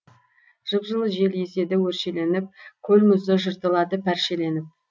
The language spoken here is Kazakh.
жып жылы жел еседі өршеленіп көл мұзы жыртылады пәршеленіп